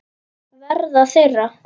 Verða þeirra.